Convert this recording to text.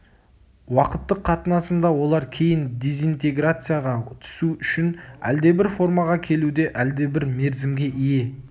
уақыттық қатынасында олар кейін дезинтеграцияға түсу үшін әлдебір формаға келуде әлдебір мерзімге ие